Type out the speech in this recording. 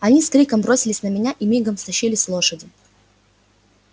они с криком бросились на меня и мигом стащили с лошади